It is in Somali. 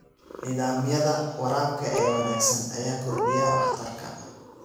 Nidaamyada waraabka ee wanaagsan ayaa kordhiya waxtarka.